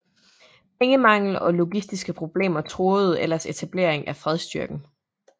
Pengemangel og logistiske problemer truede ellers etableringen af fredsstyrken